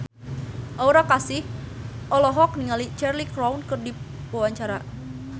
Aura Kasih olohok ningali Cheryl Crow keur diwawancara